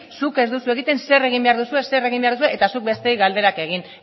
zuk ez duzu egiten zer egin behar duzue zer egin behar duzue eta zuk besteei galderak egin